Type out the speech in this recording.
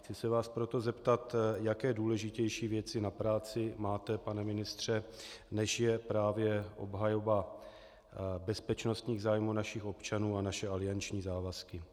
Chci se vás proto zeptat, jaké důležitější věci na práci máte, pane ministře, než je právě obhajoba bezpečnostních zájmů našich občanů a naše alianční závazky.